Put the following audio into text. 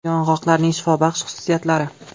Yong‘oqlarning shifobaxsh xususiyatlari.